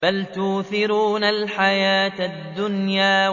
بَلْ تُؤْثِرُونَ الْحَيَاةَ الدُّنْيَا